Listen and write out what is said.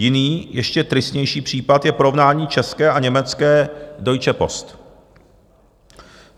Jiný, ještě tristnější, případ je porovnání české a německé Deutsche Post.